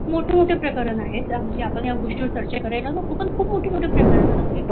मोठी मोठी प्रकरण आहेत ज्यामुळे आपण या गोष्टीवर चर्चा करायल नको खुप मोठ मोठी प्रकरणे आहेत